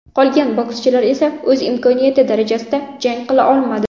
Qolgan bokschilar esa o‘z imkoniyati darajasida jang qila olmadi.